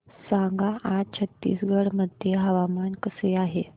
सांगा आज छत्तीसगड मध्ये हवामान कसे आहे